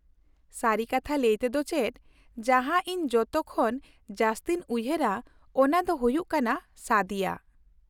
ᱥᱟᱹᱨᱤ ᱠᱟᱛᱷᱟ ᱞᱟᱹᱭ ᱛᱮ ᱫᱚ ᱪᱮᱫ, ᱡᱟᱦᱟᱸ ᱤᱧ ᱡᱚᱛᱚ ᱠᱷᱚᱱ ᱡᱟᱹᱥᱛᱤᱧ ᱩᱭᱦᱟᱹᱨᱟ, ᱚᱱᱟ ᱫᱚ ᱦᱩᱭᱩᱜ ᱠᱟᱱᱟ ᱥᱟᱫᱤᱭᱟ ᱾